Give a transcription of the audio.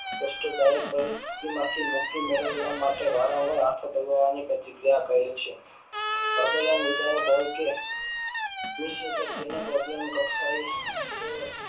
કષ્ટદાયક હોય તેમાં થી મુક્તિ મેળવવા માટે વારંવાર હાથો દબાવવાની પ્રક્રિયા કર્યા કરે છે પ્રબલન વિધાયક હોય કે તેને પ્રબલન કક્ષાએ